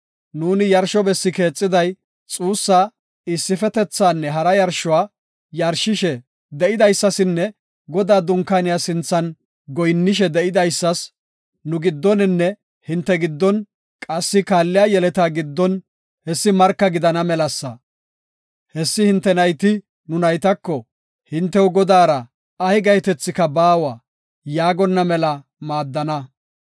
Nuuni yarsho bessi keexiday, xuussa, issifetethanne hara yarshuwa yarshishe de7idaysasinne Godaa dunkaaniya sinthan goyinnishe de7idaysas, nu giddoninne hinte giddon qassi kaalliya yeleta giddon hessi marka gidana melasa. Hessi hinte nayti nu naytako, ‘Hintew Godaara ay gahetethika baawa’ yaagonna mela maadana.